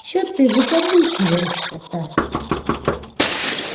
че ты выкаблучиваешься-то